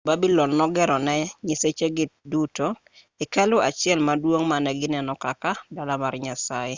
jo-babylon nogero ne nyisechegi duto hekalu achiel maduong' mane gineno kaka dala mar nyasaye